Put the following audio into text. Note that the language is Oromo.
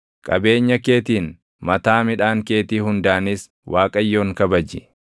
Qabeenya keetiin, mataa midhaan keetii hundaanis Waaqayyoon kabaji;